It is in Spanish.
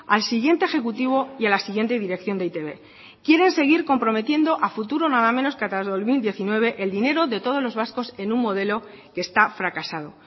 al siguiente ejecutivo y a la siguiente dirección de e i te be quieren seguir comprometiendo a futuro nada menos que hasta el dos mil diecinueve el dinero de todos los vascos en un modelo que esta fracasado